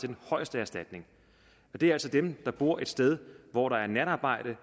den højeste erstatning og det er altså dem der bor et sted hvor der er natarbejde